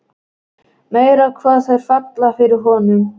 Meira hvað þær falla fyrir honum!